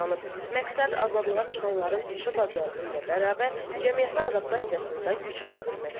Məqsəd azadlığa çıxanların peşə bacarığı ilə bərabər cəmiyyətə adaptasiyasını da gücləndirməkdir.